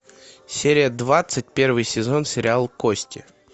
серия двадцать первый сезон сериал кости